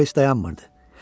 O heç dayanmırdı.